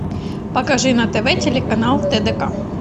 покажи на тв телеканал тдк